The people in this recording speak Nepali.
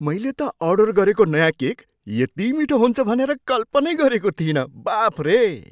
मैले त अर्डर गरेको नयाँ केक यति मिठो हुन्छ भनेर कल्पनै गरेको थिइनँ! बाफरे!